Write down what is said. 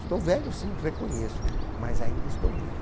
Estou velho sim, reconheço, mas ainda estou vivo.